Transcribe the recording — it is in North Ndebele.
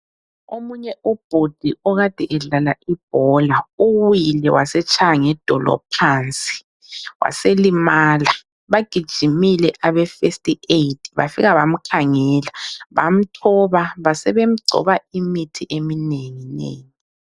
Omunye ubhudi okade edlala ibhola, uwile wasetshaya ngedolo phansi, waselimala. Bagijimile abe first aid bafika bamkhangela, bamthoba, basebemgcoba imithi eminengi nengi.